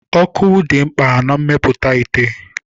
Ọkụ dị mkpa na mmepụta ite.